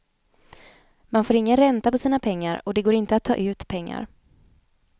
Man får ingen ränta på sina pengar, och det går inte att ta ut pengar.